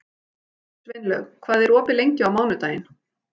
Sveinlaug, hvað er opið lengi á mánudaginn?